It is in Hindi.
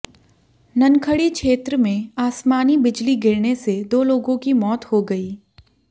ननखड़ी क्षेत्र में आसमानी बिजली गिरने से दो लोगों की मौत हो गई